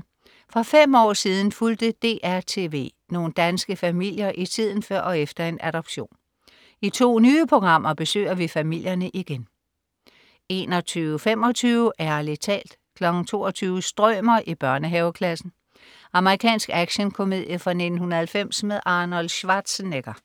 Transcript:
2:2. For fem år siden fulgte DR TV nogle danske familier i tiden før og efter en adoption. I to nye programmer besøger vi familierne igen 21.25 Ærlig talt 22.00 Strømer i børnehaveklassen. Amerikansk actionkomedie fra 1990 med Arnold Schwarzenegger